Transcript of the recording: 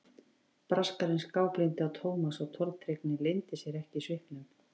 Braskarinn skáblíndi á Thomas og tortryggnin leyndi sér ekki í svipnum.